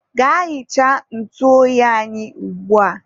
gaa hichaa ntụ oyi anyị ugbua!